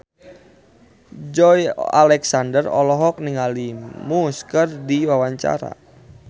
Joey Alexander olohok ningali Muse keur diwawancara